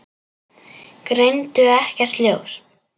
Greindu ekkert ljós.